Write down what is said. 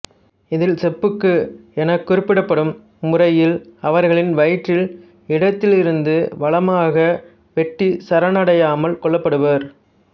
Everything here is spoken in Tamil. இதில் செப்புக்கு என குறிப்பிடப்படும் முறையில் அவர்களின் வயிற்றில் இடத்திலிருந்து வலமாக வெட்டி சரணடையாமல் கொல்லப்படுவர்